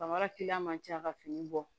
Bamara man ca ka fini bɔ